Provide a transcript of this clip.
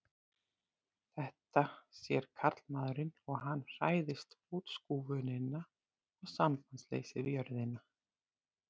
Þetta sér karlmaðurinn og hann hræðist útskúfunina og sambandsleysið við jörðina.